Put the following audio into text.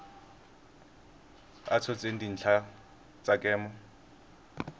a tshotseng dintlha tsa kemo